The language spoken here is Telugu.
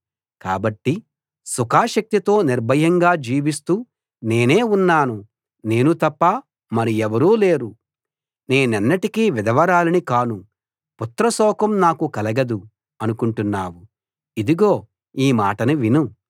కాబట్టి సుఖాసక్తితో నిర్భయంగా జీవిస్తూ నేనే ఉన్నాను నేను తప్ప మరి ఎవరూ లేరు నేనెన్నటికీ విధవరాలిని కాను పుత్రశోకం నాకు కలగదు అనుకుంటున్నావు ఇదిగో ఈ మాటను విను